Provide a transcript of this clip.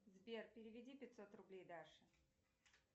сбер переведи пятьсот рублей даше